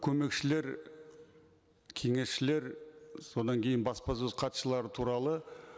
көмекшілер кеңесшілер содан кейін баспасөз хатшылары туралы